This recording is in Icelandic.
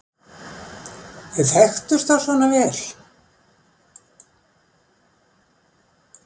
Þau þekktust þá svona vel!